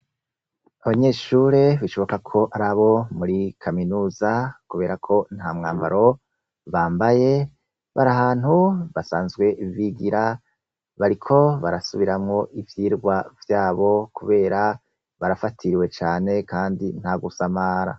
Abanyeshure bishoboka ko ari abo muri kaminuza kubera ko nta mwambaro bambaye bari ahantu basanzwe bigira bariko barasubiramwo ivyigwa vyabo kubera barafatiriwe cane nta gusamara.